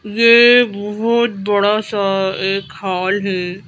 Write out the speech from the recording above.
ये बहुत बड़ा सा एक हॉल है।